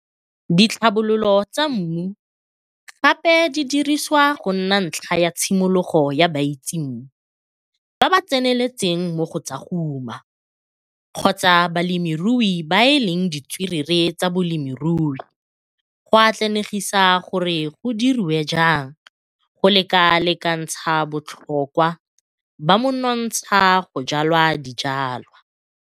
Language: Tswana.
Ditlhabololo tsa mmu gape di dirisiwa go nna ntlha ya tshimologo ya baitsemmu, ba ba tseneletseng mo go tsa go uma kgotsa balemirui ba ba leng ditswerere tsa bolemirui go atlanegisa gore go dirwe jang go lekalekantsha botlhokwa ba monontsha go jwala dijwalwa.